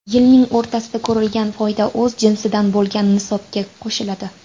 Yilning o‘rtasida ko‘rilgan foyda o‘z jinsidan bo‘lgan nisobga qo‘shiladi.